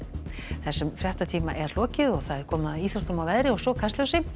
þessum fréttatíma er lokið og komið að íþróttum veðri og svo Kastljósi